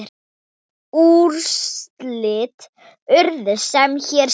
Úrslit urðu sem hér segir